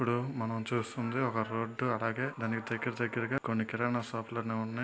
ఇప్పుడు మనం చూస్తుంది ఒక రోడ్డు అలాగేదాని దగ్గర దగ్గరగా కొన్ని కిరణ షాపులు అనేవి ఉన్నాయి.